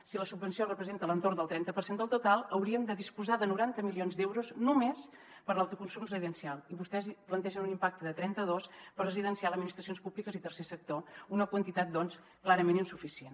si la subvenció representa a l’entorn del trenta per cent del total hauríem de disposar de noranta milions d’euros només per a l’autoconsum residencial i vostès plantegen un impacte de trenta dos per a residencial administracions públiques i tercer sector una quantitat doncs clarament insuficient